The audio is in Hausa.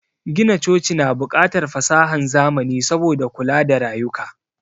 Gina coci na bukatar fasahan zamani saboda kula da rayuka